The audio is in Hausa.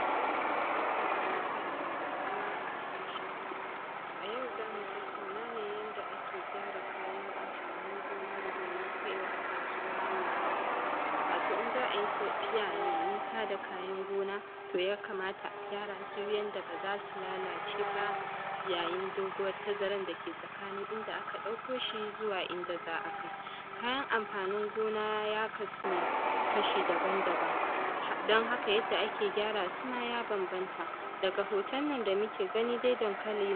Assalamu alaikum, barkanmu da saduwa a cikin shirin. A yau za mu tattauna ne yanda ake gyara kayan amfanin gona. Domin kaiwa kasuwa mai nisa – wato in za a yi tafiya mai nisa da kayan gona, to yakamata a gyara su yanda ba za su lalace ba. Yayin ɗaguwan dake tsakanin inda aka ɗauko shi da inda za a kai kayan amfanin gona, ya kasu ne kashi daban-daban. Don haka yanda ake gyara su ma ya banbanta. Daga hoton nan da muke gani, daŋkali